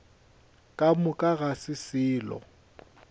ka moka ga se selo